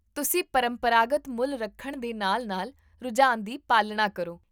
ਤੁਸੀਂ ਪਰੰਪਰਾਗਤ ਮੁੱਲ ਰੱਖਣ ਦੇ ਨਾਲ ਨਾਲ ਰੁਝਾਨ ਦੀ ਪਾਲਣਾ ਕਰੋ